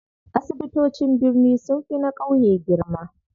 Asibitocin birni sunfi na ƙauye girma.